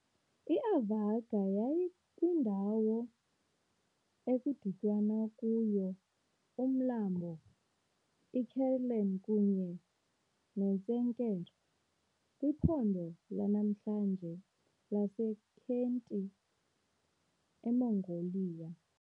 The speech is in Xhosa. IAvarga yayikwindawo ekudityanwa kuyo uMlambo iKherlen kunye neTsenker, kwiphondo lanamhlanje laseKhentii, eMongolia.